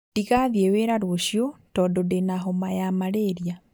Ndigathiĩ wĩra rũciũ tondũ ndĩna homa ya malaria